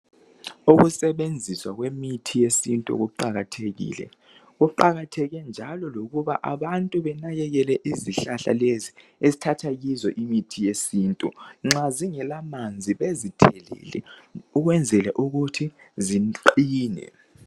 Ukusebenziswa kwemithi yesintu kuqakathekile. Kuqakatheke njalo lokuba abantu benakekele izihlahla lezi esithatha kizo imithi yesintu. Nxa zingela manzi bezithelele ukwenzela ukuthi ziqine.